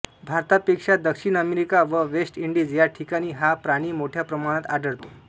भारतापेक्षा दक्षिण अमेरिका व वेस्ट इंडिज या ठिकाणी हा प्राणी मोठ्या प्रमाणात आढळतो